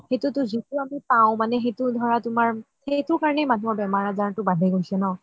সেইটো তো যিতো আমি পাও মানে সেইটো ধৰা তুমাৰ সেইটো কাৰণেই মানুহৰ বেমাৰ আজাৰ বাঢ়ি গৈছে ন